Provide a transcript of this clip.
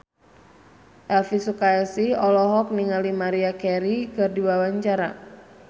Elvy Sukaesih olohok ningali Maria Carey keur diwawancara